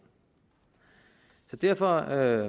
så derfor